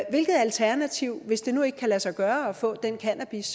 hvilket alternativ hvis det nu ikke kan lade sig gøre at få den cannabis